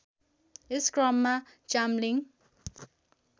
यस क्रममा चाम्लिङ